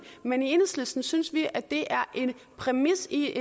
men i enhedslisten synes vi at det er en præmis i